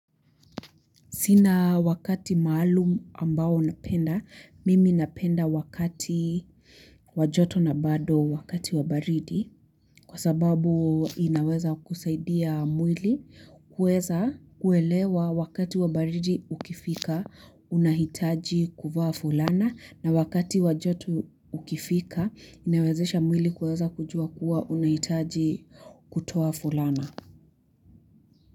Sina wakati maalum ambao unapenda, mimi napenda wakati wa joto na bado wakati wa baridi kwa sababu inaweza kusaidia mwili kuweza kuelewa wakati wa baridi ukifika unahitaji kuvaa fulana na wakati wa joto ukifika inawezesha mwili kuweza kujua kuwa unahitaji kutoa fulana.